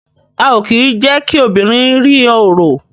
A o kí je kí obìnrin rí oro